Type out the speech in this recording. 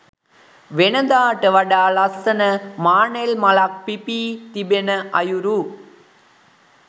වෙනදාට වඩා ලස්සන මානෙල් මලක් පිපී තිබෙන අයුරු